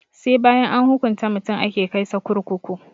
Sai bayan an hukunta mutum ake kai sa kurkuku